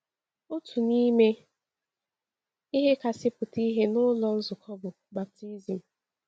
Otu n’ime ihe kasị pụta ìhè n’ụlọ nzukọ bụ baptism.